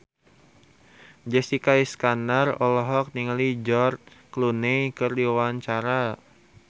Jessica Iskandar olohok ningali George Clooney keur diwawancara